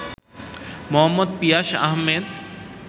Md. Piyas Ahmed